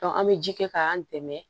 an bɛ ji kɛ k'an dɛmɛ